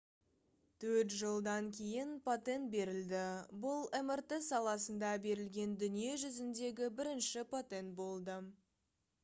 төрт жылдан кейін патент берілді бұл мрт саласында берілген дүние жүзіндегі бірінші патент болды